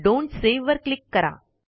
don't save वर click करा